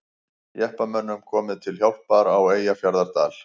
Jeppamönnum komið til hjálpar á Eyjafjarðardal